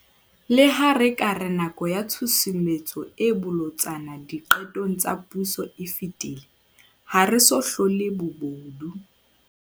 Leha re ka re nako ya tshusumetso e bolotsana diqetong tsa puso e fetile, ha re so hlole bobodu.